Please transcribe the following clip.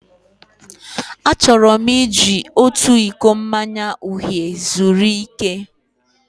Achọrọ m iji otu iko mmanya uhie zuru ike.